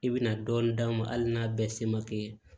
I bɛna dɔɔnin d'a ma hali n'a bɛɛ se ma kɛ